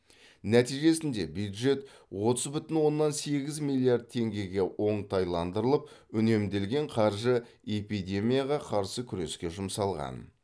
нәтижесінде бюджет отыз бүтін оннан сегіз миллиард теңгеге оңтайландырылып үнемделген қаржы эпидемияға қарсы күреске жұмсалған